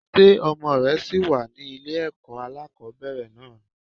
Ṣé ọmọ rẹ ṣì wà ní ilé ẹ̀kọ́ alákòbẹ̀rẹ̀ náà ni?